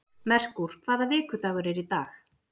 Merkúr, hvaða vikudagur er í dag?